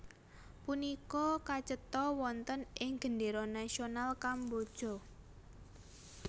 Punika kacetha wonten ing gendéra nasional Kamboja